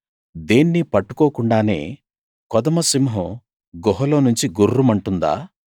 దేన్నీ పట్టుకోకుండానే కొదమ సింహం గుహలోనుంచి గుర్రుమంటుందా